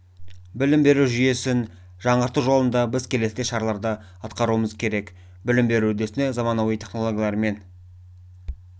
білім беру жүйесін жаңғырту жолында біз келесідей шараларды атқаруымыз керек білім беру үдерісіне заманауи технологиялар мен